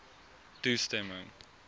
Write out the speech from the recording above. toestemming